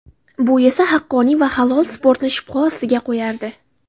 Bu esa haqqoniy va halol sportni shubha ostiga qo‘yardi.